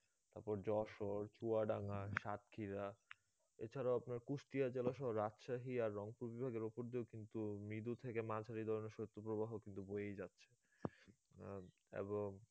তারপর যশোর, চুয়াডাঙ্গা, সাতক্ষীরা এছাড়াও আপনার কুষ্টিয়া জেলা সহ রাজশাহী আর রংপুর বিভাগের উপর দিয়ে কিন্তু মৃদু থেকে মাঝারি ধরনের শৈত্যপ্রবাহ কিন্তু বয়েই যাচ্ছে আহ এবং